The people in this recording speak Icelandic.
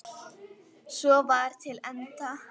Svo var til enda.